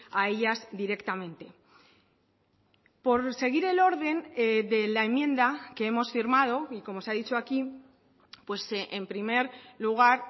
a ellas directamente por seguir el orden de la enmienda que hemos firmado y como se ha dicho aquí en primer lugar